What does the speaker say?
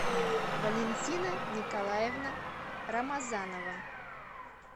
валентина николаевна рамазанова